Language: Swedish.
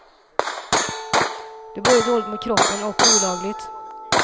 Det är både dåligt mot kroppen och olagligt.